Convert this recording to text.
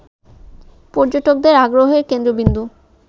পর্যটকদের আগ্রহের কেন্দ্রবিন্দু